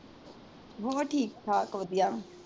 ਹਾਂ ਠੀਕ ਠਾਕ ਵਧੀਆ।